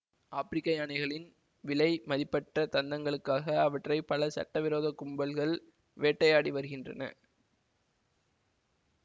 ஆப்பிரிக்க யானைகளின் விலை மதிப்பற்ற தந்தங்களுக்காக அவற்றை பல சட்டவிரோத கும்பல்கள் வேட்டையாடி வருகின்றன